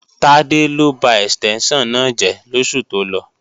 Tádé ló ba ẹ̀stẹ́ńṣàn náà jẹ́ lóṣù tó lọ